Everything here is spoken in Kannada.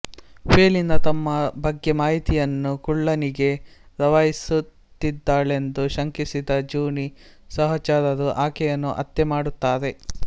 ಫೆಲಿನಾ ತಮ್ಮ ಬಗ್ಗೆ ಮಾಹಿತಿಯನ್ನು ಕುಳ್ಳನಿಗೆ ರವಾನಿಸುತ್ತಿದ್ದಾಳೆಂದು ಶಂಕಿಸಿದ ಜೂನೀ ಸಹಚರರು ಆಕೆಯನ್ನು ಹತ್ಯೆ ಮಾಡುತ್ತಾರೆ